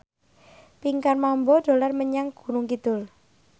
Pinkan Mambo dolan menyang Gunung Kidul